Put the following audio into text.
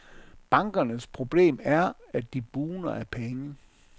Bankernes problem er, at de bugner af penge.